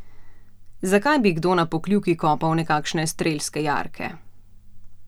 Zakaj bi kdo na Pokljuki kopal nekakšne strelske jarke?